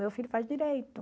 Meu filho faz Direito.